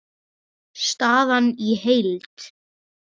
Staðan í heild